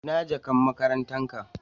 Ina jakan makarantan ka?.